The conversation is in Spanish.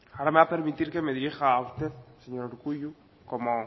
ahora me va a permitir que me dirija a usted señor urkullu como